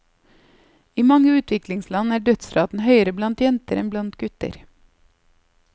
I mange utviklingsland er dødsraten høyere blant jenter enn blant gutter.